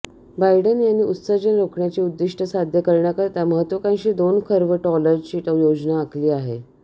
Biden यांनी उत्सर्जन रोखण्याची उद्दिष्टं साध्य करण्याकरिता महत्त्वाकांक्षी दोन खर्व डॉलरची योजना आखली आहे